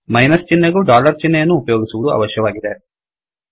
minus ಚಿಹ್ನೆಗೂ dollar ಚಿಹ್ನೆಯನ್ನು ಉಪಯೋಗಿಸುವದು ಅವಶ್ಯವಾಗಿದೆ